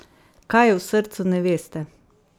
Kaj je v srcu neveste?